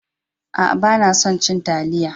A'a, ban son ci talliya.